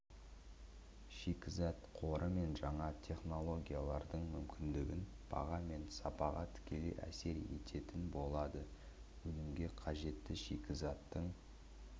шикізат қоры мен жаңа технологиялардың мүмкіндігі баға мен сапаға тікелей әсер ететін болады өнімге қажетті шикізаттың